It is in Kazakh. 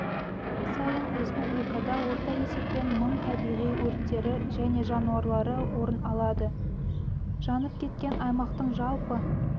сайын республикада орта есеппен мың табиғи өрттері және жанулары орын алады жанып кеткен аймақтың жалпы